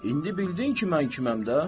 İndi bildin ki, mən kiməm də?